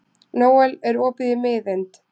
Nóel, er opið í Miðeind?